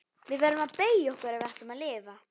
Við verðum að beygja okkur ef við ætlum að lifa.